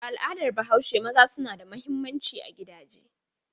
A al'adar Bahaushe maza suna da mahimmanci a gidaje.